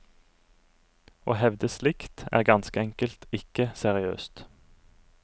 Å hevde slikt, er ganske enkelt ikke seriøst.